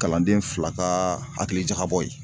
Kalanden fila kaa hakilijakabɔ ye